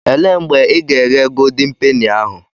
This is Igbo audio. Elee mgbe ị ga-eghe goldin peni ahụ?